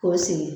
K'o sigi